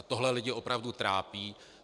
A tohle lidi opravdu trápí.